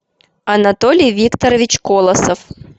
анатолий викторович колосов